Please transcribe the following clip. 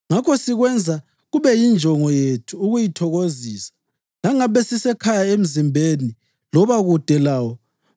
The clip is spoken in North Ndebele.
Ngakho sikwenza kube yinjongo yethu ukuyithokozisa, langabe sisekhaya emzimbeni loba kude lawo.